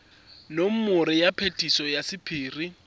nomoro ya phetiso ya sephiri